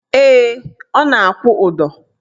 Ee, ọ na-akwụ ụdọ